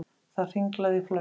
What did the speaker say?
Það hringlaði í flöskum.